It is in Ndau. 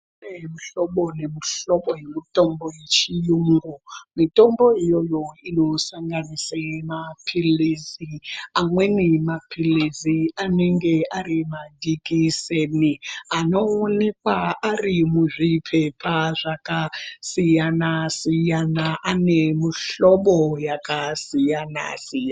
Kune muhlobo nemuhlobo yemutombo yechiyungu mitombo iyoyo inosanganisa mapilisi amweni mapilisi anenge ari majikiseni anooneka arimuzvipepa zvakasiyana siyana ane muhlobo yakasiyana siyana .